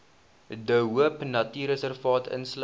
de hoopnatuurreservaat insluit